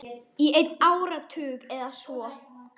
Í einn áratug eða svo.